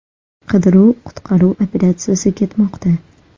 Qidiruv-qutqaruv operatsiyasi ketmoqda.